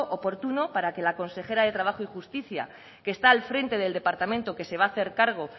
oportuno para que la consejera de trabajo y justicia que está al frente del departamento que se va a hacer cargo